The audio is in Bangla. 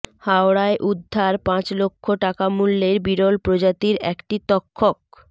হাওড়ায় উদ্ধার পাঁচ লক্ষ টাকা মূল্যের বিরল প্রজাতির একটি তক্ষক